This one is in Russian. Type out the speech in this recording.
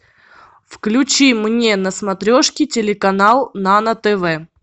включи мне на смотрешке телеканал нано тв